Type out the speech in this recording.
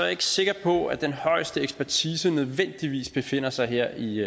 ikke sikker på at den højeste ekspertise nødvendigvis befinder sig her i